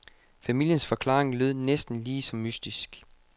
Familiens forklaring lød næsten lige så mystisk.